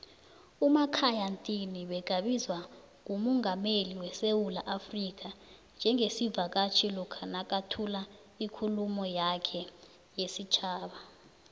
umakhaya ntini begabizwa ngumungameli wesewula africa njengesivakatjhi lokha nakathula ikhuluma yakhe yesitjhaba